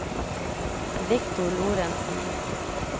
Victor Lorentsen